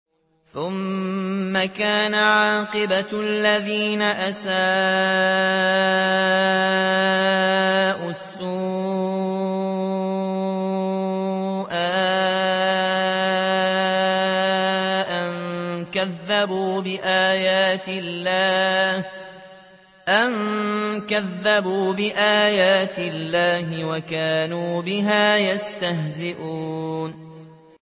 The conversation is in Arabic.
ثُمَّ كَانَ عَاقِبَةَ الَّذِينَ أَسَاءُوا السُّوأَىٰ أَن كَذَّبُوا بِآيَاتِ اللَّهِ وَكَانُوا بِهَا يَسْتَهْزِئُونَ